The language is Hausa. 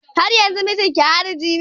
Haryanzun mijinki hariji ne?